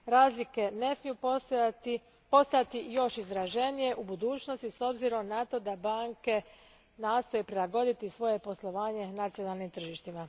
Razlike ne smiju postajati još izraženije u budućnosti s obzirom na to da banke nastoje prilagoditi svoje poslovanje nacionalnim tržištima.